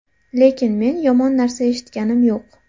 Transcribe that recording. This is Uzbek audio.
Lekin men yomon narsa eshitganim yo‘q.